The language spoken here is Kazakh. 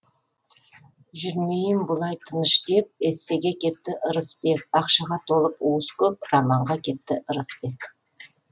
жүрмейін бұлай тыныш деп эссеге кетті ырысбек ақшаға толып уыс көп романға кетті ырысбек